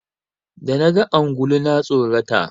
Da naga ungulu na tsorata.